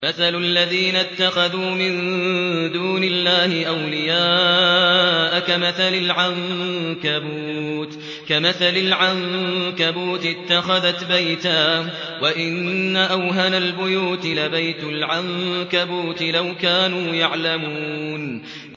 مَثَلُ الَّذِينَ اتَّخَذُوا مِن دُونِ اللَّهِ أَوْلِيَاءَ كَمَثَلِ الْعَنكَبُوتِ اتَّخَذَتْ بَيْتًا ۖ وَإِنَّ أَوْهَنَ الْبُيُوتِ لَبَيْتُ الْعَنكَبُوتِ ۖ لَوْ كَانُوا يَعْلَمُونَ